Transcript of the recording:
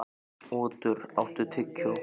Otur, áttu tyggjó?